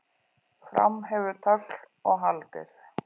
Fram hefur tögl og haldir